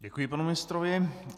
Děkuji panu ministrovi.